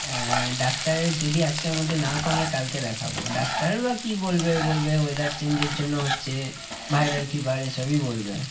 আহ ডাক্তারের যদি আজকের মধ্যে না কমে কালকে দেখাবো। ডাক্তার বা কি বলবে? বলবে weather change এর জন্য হচ্ছে, viral fever এসবই বলবে।